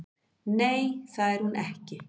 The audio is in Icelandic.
Nei, það er hún ekki